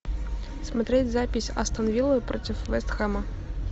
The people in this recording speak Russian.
смотреть запись астон вилла против вест хэма